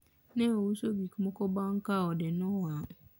ne ouso gikmoko bang ka ode ne owang